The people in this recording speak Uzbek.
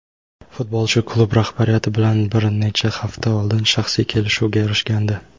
Futbolchi klub rahbariyati bilan bir necha hafta oldin shaxsiy kelishuvga erishgandi.